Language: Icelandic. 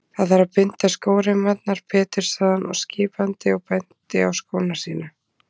Það þarf að binda skóreimarnar betur sagði hann skipandi og benti á skóna sína.